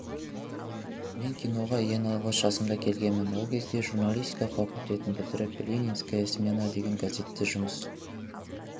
мен киноға ең алғаш жасымда келгенмін ол кезде журналистика факультетін бітіріп ленинская смена деген газетте жұмыс